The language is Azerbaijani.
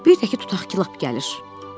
Bir də ki, tutaq ki, lap gəlir.